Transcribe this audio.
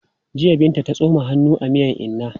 Jiya Binta ta tsoma hannu a miyan inna.